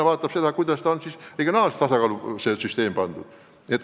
Tema vaatab seda, kas süsteem on regionaalselt tasakaalus.